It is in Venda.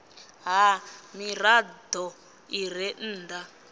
ha mirado i re nnda